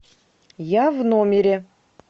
я в номере